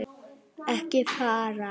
Ekki fara.